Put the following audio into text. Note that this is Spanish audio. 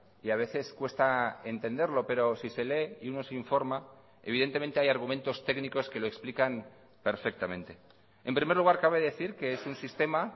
y a veces cuesta entenderlo pero si se lee y uno se informa evidentemente hay argumentos técnicos que lo explican perfectamente en primer lugar cabe decir que es un sistema